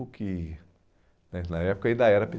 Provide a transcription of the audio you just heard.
o que né na época ainda era pê